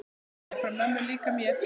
Kveðja frá mömmu líka mér.